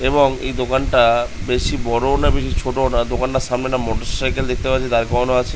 এবং এই দোকানটা বেশি বড় ও না বেশি ছোট ও না দোকানটার সামনে একটা মোটরসাইকেল দেখতে পারছি দাঁড় করানো আছে।